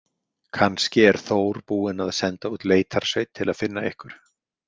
Kannski er Þór búinn að senda út leitarsveit til að finna ykkur